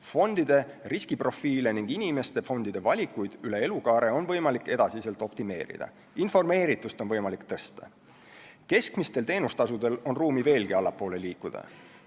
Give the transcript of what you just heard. Fondide riskiprofiile ja inimeste fondide valikuid üle elukaare on võimalik edaspidi optimeerida, informeeritust on võimalik tõsta, keskmistel teenustasudel on ruumi veelgi allapoole liikuda.